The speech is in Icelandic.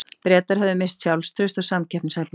Bretar höfðu misst sjálfstraust og samkeppnishæfni.